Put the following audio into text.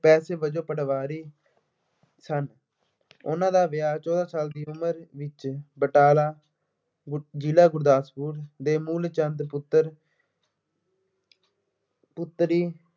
ਪੇਸ਼ੇ ਵਜੋਂ ਪਟਵਾਰੀ ਸਨ। ਉਹਨਾ ਦਾ ਵਿਆਹ ਚੋਦਾਂ ਸਾਲ ਦੀ ਉਮਰ ਵਿੱਚ ਬਟਾਲਾ ਹੁਣ ਜਿਲ੍ਹਾ ਗੁਰਦਾਸਪੁਰ ਦੇ ਮੂਲ ਚੰਦ ਪੁੱਤਰ ਪੁੱਤਰੀ